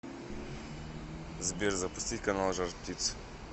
сбер запустить канал жар птица